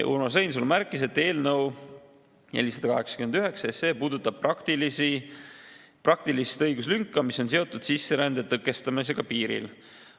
Urmas Reinsalu märkis, et eelnõu 489 puudutab praktilist õiguslünka, mis on seotud sisserände tõkestamisega piiril.